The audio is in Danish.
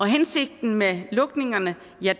hensigten med lukningerne